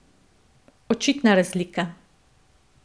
Očitna razlika.